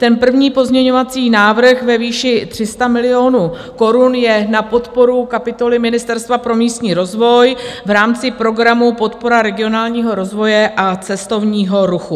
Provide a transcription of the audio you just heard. Ten první pozměňovací návrh ve výši 300 milionů korun je na podporu kapitoly Ministerstva pro místní rozvoj v rámci programu Podpora regionálního rozvoje a cestovního ruchu.